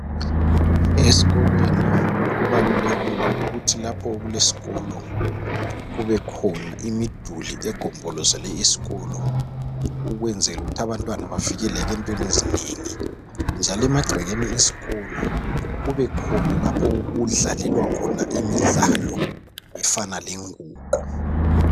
Esikolweni kubalulekile ukuthi lapho okuleskolo kubekhona imiduli egombolozele isikolo .Ukwenzelu kuthi abantwana bavikeleke entweni ezinengi .Njalo emagcekeni esikolo kube khona lapho okudlalelwa khona imidlalo efana lenguqu .